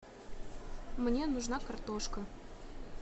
мне нужна картошка